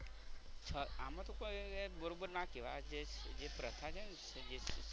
આમાં તો કોઈ બરોબર ના કહેવાય આ જે પ્રથા છે ને